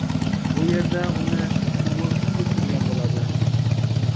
Bu yerda uni Timur kutib turgan bo‘ladi.